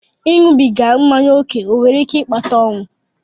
Ịṅụbiga mmanya ókè ọ nwere ike ịkpata ọnwụ?